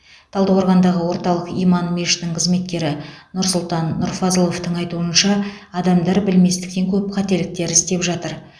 талдықорғандағы орталық иман мешітінің қызметкері нұрсұлтан нұрфазыловтың айтуынша адамдар білместіктен көп қателіктер істеп жатыр